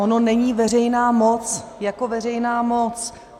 Ona není veřejná moc jako veřejná moc.